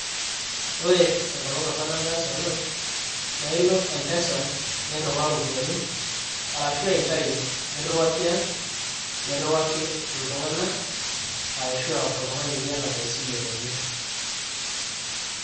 Ore enkolong' opa nataasa ena, naa ilo Mpesa nirriwaa iropiyinai arashua intayu nirriwakii ang' nirriwaki iltung'anak arashua oltung'ani liyata esile enye.